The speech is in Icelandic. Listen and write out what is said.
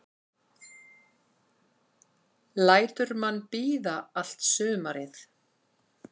Lætur mann bíða allt sumarið.